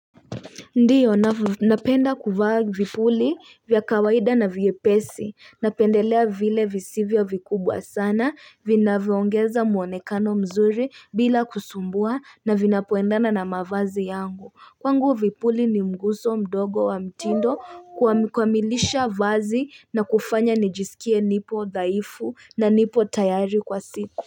Ndiyo napenda kuvaa vipuli vya kawaida na vyepesi napendelea vile visivyo vikubwa sana vinavoongeza muonekano mzuri bila kusumbua na vinapoendana na mavazi yangu kwangu vipuli ni mguso mdogo wa mtindo kuamilisha vazi na kufanya nijisikie nipo dhaifu na nipo tayari kwa siku.